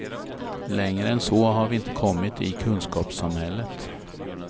Längre än så har vi inte kommit i kunskapssamhället.